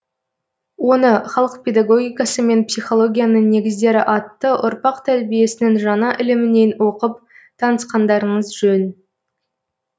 оны халық педагогикасы мен психологиясының негіздері атты ұрпақ тәрбиесінің жаңа ілімінен оқып танысқандарыңыз жөн